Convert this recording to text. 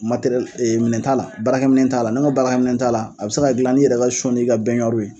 ɛ minɛ t'a la, baara minɛ t'a la, n' ko baara minɛ t'a la, a bɛ se ka dilan n'i yɛrɛ ka ni ka ye.